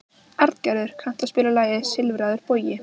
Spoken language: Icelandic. Arngerður, kanntu að spila lagið „Silfraður bogi“?